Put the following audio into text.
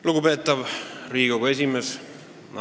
Lugupeetav Riigikogu esimees!